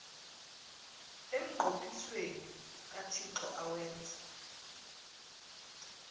emnqophisweni kathixo awenze